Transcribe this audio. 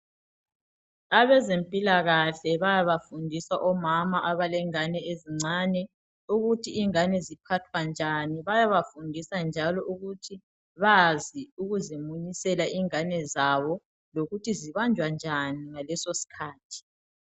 Abezempilakahle bayabafundisa omama abalengane ezincane ukuthi ingane ziphathwa njani bayabafundisa njalo ukuthi bazi ukuzimunyisela ingane zabo lokuthi zibanjwa njani ngaleso sikhathi